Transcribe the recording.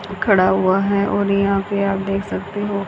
खड़ा हुआ है और यहां पे आप देख सकते हो--